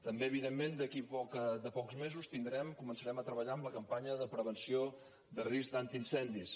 també evidentment d’aquí a pocs mesos començarem a treballar en la campanya de prevenció de risc d’incendis